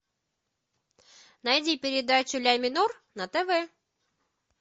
найди передачу ля минор на тв